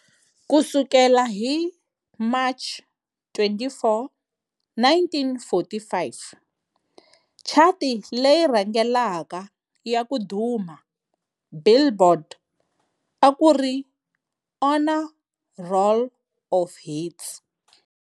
Ku sukela hi March 24, 1945, chati leyi rhangelaka ya ku duma "Billboard" a ku ri "Honor Roll of Hits".